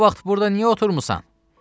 Bu vaxt burda niyə oturmusan?